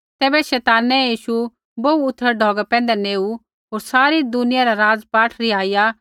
तैबै शैतानै यीशु बोहू उथड़ै ढौगा पैंधै नेऊ होर सारी दुनियै रा राज़पाठ रिहाईया